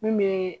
Mun bɛ